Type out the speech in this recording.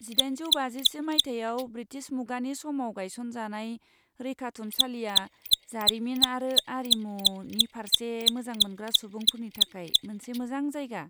जिदाइनजौ बाजिसे मायथाइयाव ब्रिटिश मुगानि समाव गायसनजानाय, रैखाथुमसालिया जारिमिन आरो आरिमुनि फारसे मोजां मोनग्रा सुबुंफोरनि थाखाय मोनसे मोजां जायगा।